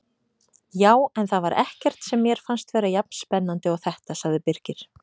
Já, en það var ekkert sem mér fannst vera jafn spennandi og þetta sagði Birkir.